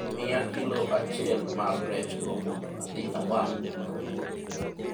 miya kilo achiel mar rech go mondo adhi awang' an awuon